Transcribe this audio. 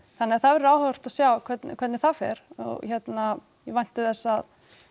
þannig að það verður áhugavert að sjá hvernig hvernig það fer og hérna ég vænti þess að